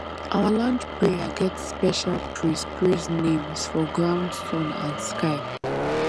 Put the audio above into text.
our land prayer get special praise praise names for ground sun and sky